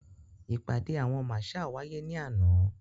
Ìpàdé àwọn marshal wáyé ní àná.